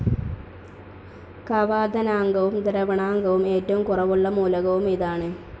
കവാദനാങ്കവും ദ്രവണാങ്കവും ഏറ്റവും കുറവുള്ള മൂലകവും ഇതാണ്.